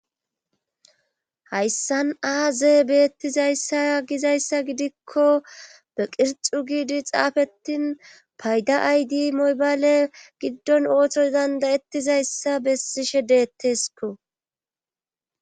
Hayssan aazee beettizayssaa gizayssa gidikko be qirxu giidi xaafetin payda aydi moybale giddon ooththo dandayettizayssa bessishe deetteesko.